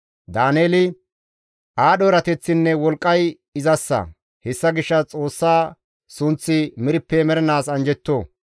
Daaneeli, «Aadho erateththinne wolqqay izassa; hessa gishshas Xoossa sunththi merppe mernaas anjjetto.